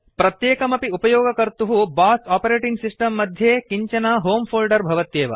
प्रत्येकमपि उपयोगकर्तुः BOSS OS मध्ये किञ्चन होमे फोल्डर भवत्येव